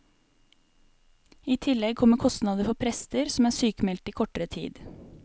I tillegg kommer kostnader for prester som er sykmeldte i kortere tid.